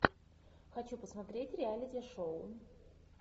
хочу посмотреть реалити шоу